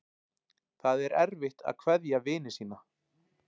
Það er erfitt að kveðja vini sína.